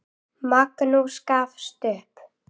Magnús gafst upp.